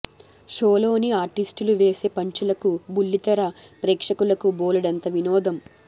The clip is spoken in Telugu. షోలోని ఆర్టిస్టులు వేసే పంచులకు బుల్లి తెర ప్రేక్షకులకు బోలెడంత వినోదం